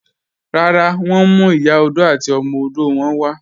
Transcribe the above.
Rárá, wọn ǹ mú Ìyà ọdọ̀ àti ọmọ ọdọ̀ wọn wà